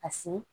A si